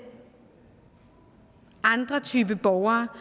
andre typer borgere